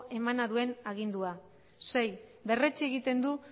emana duen agindua sei berretsi egiten du